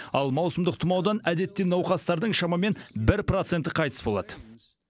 ал маусымдық тұмаудан әдетте науқастардың шамамен бір проценті қайтыс болады